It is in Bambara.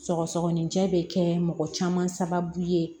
Sɔgɔsɔgɔninjɛ bɛ kɛ mɔgɔ caman sababu ye